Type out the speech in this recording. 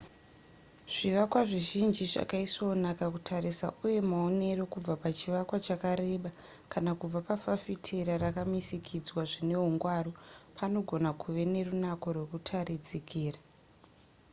zvivakwa zvizhinji zvakaisvonaka kutarisa uye maonero kubva pachivakwa chakareba kana kubva pafafitera rakamisikidzwa zvinehungwaru panogona kuve nerunako rwekutarikidzira